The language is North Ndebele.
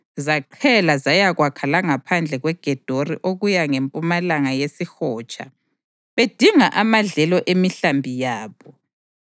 zaqhela zayakwakha langaphandle kweGedori okuya ngempumalanga yesihotsha bedinga amadlelo emihlambi yabo.